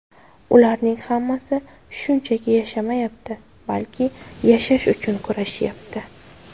Ularning hammasi shunchaki yashamayapti, balki yashash uchun kurashyapti.